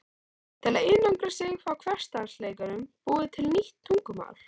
Til að einangra sig frá hversdagsleikanum búið til nýtt tungumál